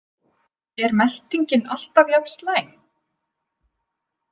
Er meltingin alltaf jafn slæm?